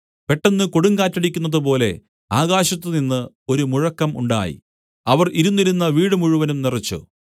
പെട്ടെന്ന് കൊടുങ്കാറ്റടിക്കുന്നതുപോലെ ആകാശത്തുനിന്ന് ഒരു മുഴക്കം ഉണ്ടായി അവർ ഇരുന്നിരുന്ന വീട് മുഴുവനും നിറച്ചു